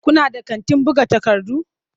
Kuna da kantin buga takardu?